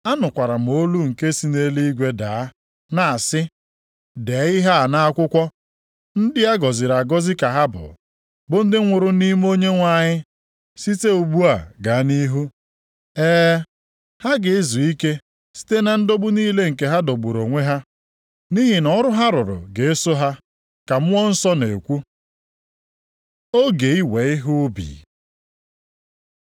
Anụkwara m olu nke si nʼeluigwe daa na-asị, dee ihe a nʼakwụkwọ, “Ndị a gọziri agọzi ka ha bụ, bụ ndị nwụrụ nʼime Onyenwe anyị site ugbu a gaa nʼihu.” “E, ha ga-ezu ike site na ndọgbu niile nke ha dọgburu onwe ha, nʼihi na ọrụ ha rụrụ ga-eso ha,” ka Mmụọ Nsọ na-ekwu. Oge iwe ihe ubi